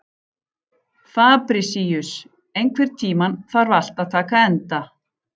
Fabrisíus, einhvern tímann þarf allt að taka enda.